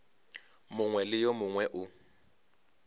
mongwe le wo mongwe wo